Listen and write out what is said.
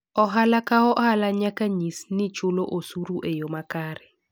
Ohala ka ohala nyaka nyis nigi chulo osuru e yo makare.